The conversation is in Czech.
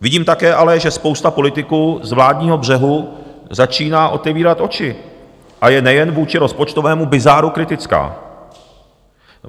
Vidím také ale, že spousta politiků z vládního břehu začíná otevírat oči a je nejen vůči rozpočtovému bizáru kritická.